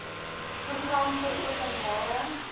program vir openbare